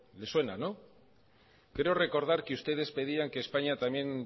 le suenan creo recordar que ustedes pedían que españa también